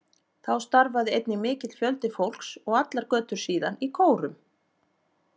Þá starfaði einnig mikill fjöldi fólks, og allar götur síðan, í kórum.